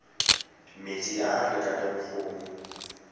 metsi a a lekaneng go